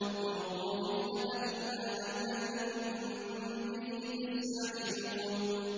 ذُوقُوا فِتْنَتَكُمْ هَٰذَا الَّذِي كُنتُم بِهِ تَسْتَعْجِلُونَ